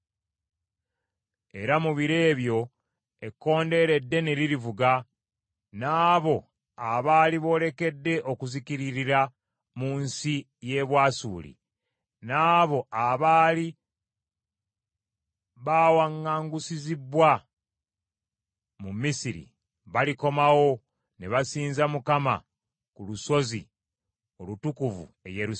Era mu biro ebyo ekkondeere eddene lirivuga, n’abo abaali boolekedde okuzikiririra mu nsi y’e Bwasuli, n’abo abaali baawaŋŋangusizibbwa mu Misiri balikomawo ne basinza Mukama ku lusozi olutukuvu e Yerusaalemi.